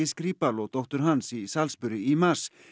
Skripal og dóttur hans í Salisbury í mars